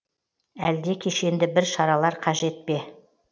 әлде кешенді бір шаралар қажет пе